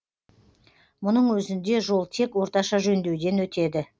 мұның өзінде жол тек орташа жөндеуден өтеді